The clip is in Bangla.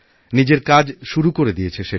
নিজের কাজ শুরু করে দিয়েছে সেটি